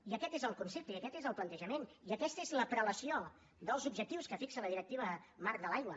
i aquest és el concepte i aquest és el plantejament i aquesta és la prelació dels objectius que fixa la directiva marc de l’aigua